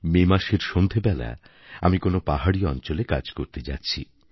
মে মাসের সন্ধেবেলা আমি কোনও পাহাড়ী অঞ্চলে কাজ করতে যাচ্ছি